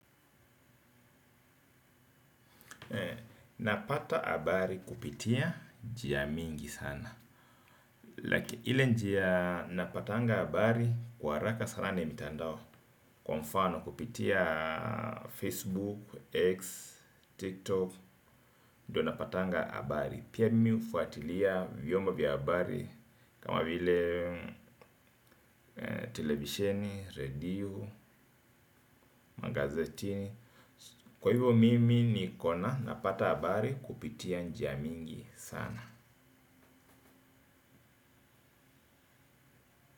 Napata habari kupitia njia mingi sana like ile njia napatanga habari kwa haraka sana ni mitandao. Kwa mfano kupitia Facebook, X, TikTok. Ndiyo napatanga habari, pia mimi hufuatilia vyombo vya habari kama vile television, radio, magazetini. Kwa hivyo mimi ni kona napata habari kupitia njia mingi sana.